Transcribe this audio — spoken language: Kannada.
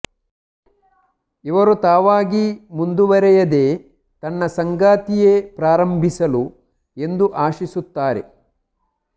ಇವರು ತಾವಾಗಿ ಮುಂದುವರೆಯದೇ ತನ್ನ ಸಂಗಾತಿಯೇ ಪ್ರಾರಂಭಿಸಲು ಎಂದು ಆಶಿಸುತ್ತಾರೆ